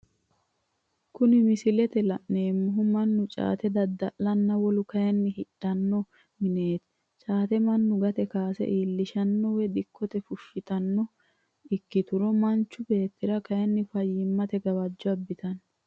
Kuni misilete la'neemohu manu caate dada'lanonna wolu kayinni hidhanno minetti, caate manu gate kaase iillishanobwoyi dikkote fushanotanno ikkituro manchu beetira kayini fayimatte gawajo abitano